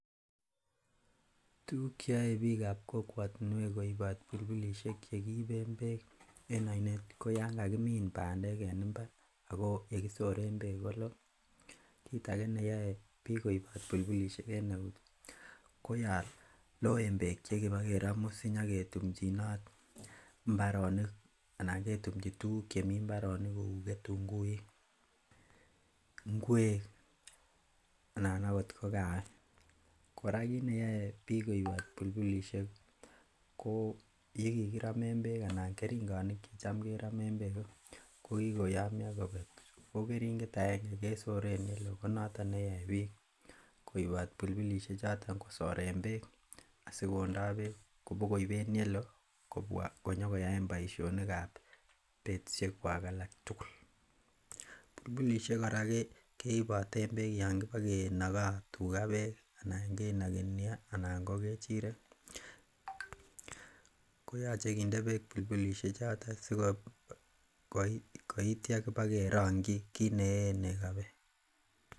Tuguk cheyoe biikab kokwotinwek koibot bulbulisiek chekiiben beek en oinet ko yan kakimin bandek en mbar ako yekisoren beek koloo. Kit age neyoe biik koibot bulbulisiek en eut ko yon loen beek chekibokeromu sinyaketumjinot mbaronik ana ketumji tuguk chemii mbaronik kou ketunguik ngwek anan ko kawek. Kora kit neyoe biik koibot bulbulisiek ko yekikiromen beek anan keringonik chetam keromen beek ko kikoyomyo kobek ago keringet agenge kesoren yeloo konoton neyoe biik koibot bulbulisiek choton kosoren beek asikondo beek kobokoib en yeloo kobwa konyokoyaen boisionik ab betusiek kwak alak tugul. Bulbulisiek kora keiboten beek yan bokenogo tuga beek ana kenogi neo anan ko ng'echirek koyoche kinde beek bulbulisiek choton sikoitya kibakerongyi kit neyeen nego beek.